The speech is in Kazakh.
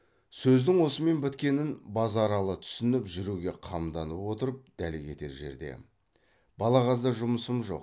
сөздің осымен біткенін базаралы түсініп жүруге қамданып отырып дәл кетер жерде балағазда жұмысым жоқ